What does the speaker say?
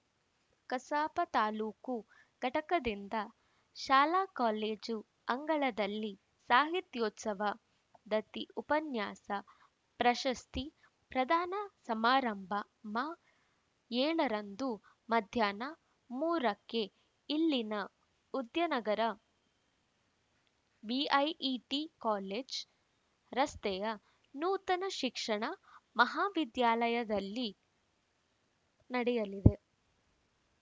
ಕಸಾಪ ತಾಲೂಕು ಘಟಕದಿಂದ ಶಾಲಾ ಕಾಲೇಜು ಅಂಗಳದಲ್ಲಿ ಸಾಹಿತ್ಯೋತ್ಸವ ದತ್ತಿ ಉಪನ್ಯಾಸ ಪ್ರಶಸ್ತಿ ಪ್ರದಾನ ಸಮಾರಂಭ ಮಾ ಏಳರಂದು ಮಧ್ಯಾಹ್ನ ಮೂರಕ್ಕೆ ಇಲ್ಲಿನ ಉದ್ಯಾನಗರ ಬಿಐಇಟಿ ಕಾಲೇಜು ರಸ್ತೆಯ ನೂತನ ಶಿಕ್ಷಣ ಮಹಾವಿದ್ಯಾಲಯದಲ್ಲಿ ನಡೆಯಲಿದೆ